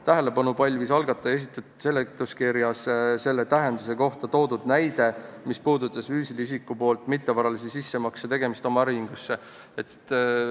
Tähelepanu pälvis algataja esitatud seletuskirjas selle täienduse kohta toodud näide, mis puudutas füüsilise isiku mittevaralise sissemakse tegemist oma äriühingusse.